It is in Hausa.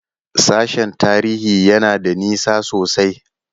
Sashen Tarihi yana da nisa sosai ne?